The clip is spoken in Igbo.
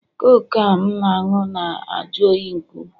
Coke a m na-aṅụ na-ajụ oyi nke ukwuu